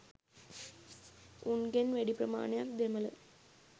උන්ගෙන් වැඩි ප්‍රමාණයක් දෙමළ.